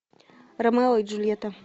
ромео и джульетта